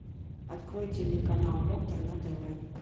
открой телеканал доктор на тв